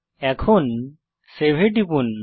এখন সেভ এ টিপুন